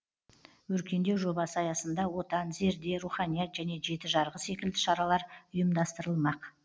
өркендеу жобасы аясында отан зерде руханият және жеті жарғы секілді шаралар ұйымдастырылмақ